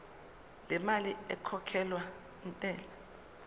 lemali ekhokhelwa intela